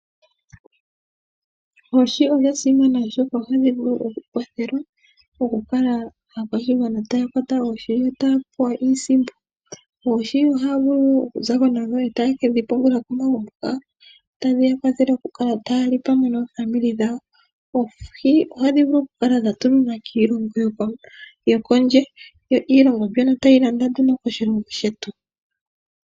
Oohi odha simana oshoka ohadhi vulu okukwathela okukala aakwashigwana taa kwata oohi yo taya pewa iisimpo. Oohi ohaya vulu okuzako nadho, e taya kedhi pungula komagumbo gawo. Tadhi ya kwathele okukala taya li pamwe naanegumbo yawo. Oohi ohadhi vulu okukala dha tuminwa kiilongo yo kondje, yo iilongo mbyono tayi landa nduno koshilongo shetu.